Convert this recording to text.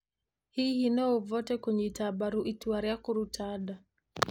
Hihi no ũvote kũnyita mbaru itua rĩa kũruta nda?